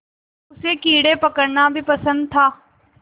उसे कीड़े पकड़ना भी पसंद था